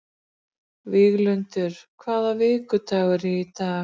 Víglundur, hvaða vikudagur er í dag?